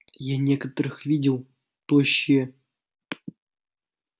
я некоторых видел тощие